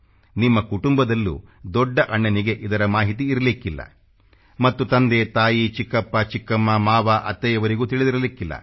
ನಿಮ್ಮ ಕುಟುಂಬದಲ್ಲೂ ದೊಡ್ಡ ಅಣ್ಣನಿಗೆ ಇದರ ಮಾಹಿತಿ ಇರಲಿಕ್ಕಿಲ್ಲ ಮತ್ತು ತಂದೆತಾಯಿ ಚಿಕ್ಕಪ್ಪಚಿಕ್ಕಮ್ಮ ಮಾವಅತ್ತೆಯವರಿಗೂ ತಿಳಿದಿರಲಿಕ್ಕಿಲ್ಲ